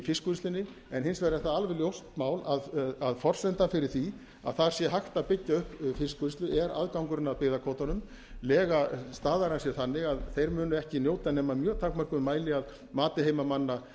fiskvinnslunni en hins vegar er það alveg ljóst mál að forsendan fyrir því að þar sé hægt að byggja upp fiskvinnslu er aðgangurinn að byggðakvótanum lega staðarins er þannig að þeir munu ekki njóta nema í mjög takmörkuðum mæli að mati heimamanna